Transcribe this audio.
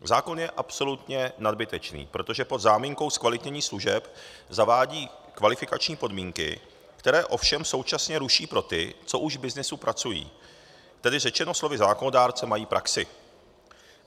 Zákon je absolutně nadbytečný, protože pod záminkou zkvalitnění služeb zavádí kvalifikační podmínky, které ovšem současně ruší pro ty, co už v byznysu pracují, tedy řečeno slovy zákonodárce, mají praxi.